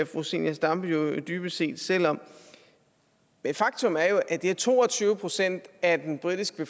fru zenia stampe jo dybest set selv om men faktum er jo at det er to og tyve procent af den britiske